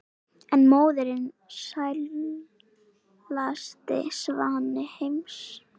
en móðirin sælasti svanni heims